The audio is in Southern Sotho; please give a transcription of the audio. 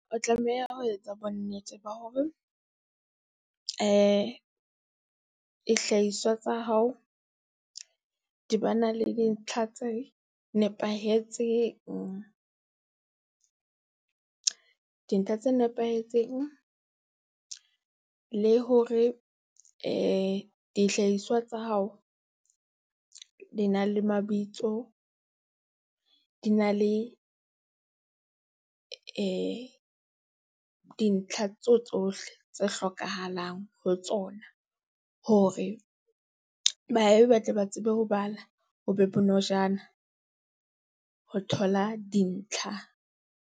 O tlameha ho etsa bonnete ba hore, dihlahiswa tsa hao di ba na le dintlha tse nepahetseng. Dintlha tse nepahetseng, le hore dihlahiswa tsa hao, di na le mabitso, di na le dintlha tso tsohle tse hlokahalang ho tsona, hore ba tle ba tsebe ho bala ho be bonojana ho thola dintlha.